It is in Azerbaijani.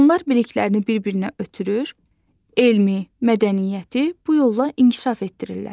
Onlar biliklərini bir-birinə ötürür, elmi, mədəniyyəti bu yolla inkişaf etdirirlər.